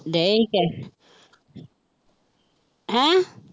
ਡਏ ਸੀ ਕਹਿ ਹੈਂ